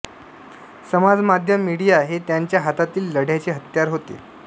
समाजमाध्यम मीडिया हे त्यांच्या हातातील लढय़ाचे हत्यार होते